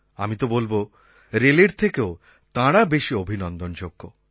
আমি তো বলব রেলের থেকেও তাঁরা বেশি অভিনন্দনযোগ্য